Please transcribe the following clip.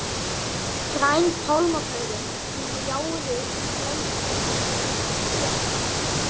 Græn pálmablöðin gljáðu í glætunni frá kerinu.